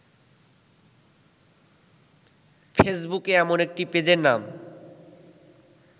ফেসবুকে এমন একটি পেজের নাম